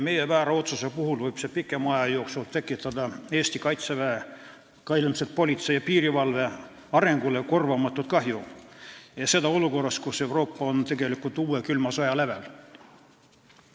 Meie väär otsus võib pikema aja jooksul tekitada kaitseväe, aga ka ilmselt politsei ja piirivalve arengule korvamatut kahju, ja seda olukorras, kus Euroopa on tegelikult uue külma sõja lävel.